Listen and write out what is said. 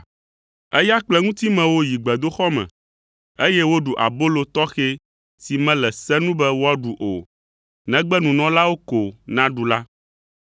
Eya kple eŋutimewo yi gbedoxɔ me, eye woɖu abolo tɔxɛ si mele se nu be woaɖu o, negbe nunɔlawo ko naɖu la.